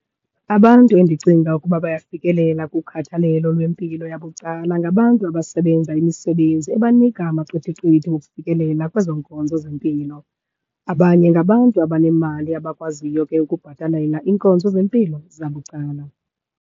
Abantu endicinga ukuba bayafikelela kukhathalelo lwempilo yabucala ngabantu abasebenza imisebenzi ebanika amaqithiqithi wokufikelela kwezo nkonzo zempilo. Abanye ngabantu abanemali abakwaziyo ke ukubhatalela iinkonzo zempilo zabucala.